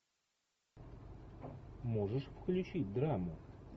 можешь включить драму